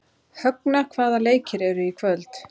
Högna, hvaða leikir eru í kvöld?